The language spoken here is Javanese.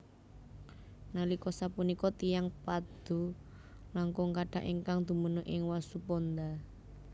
Nalika sapunika tiyang Padoe langkung kathah ingkang dumunung ing Wasuponda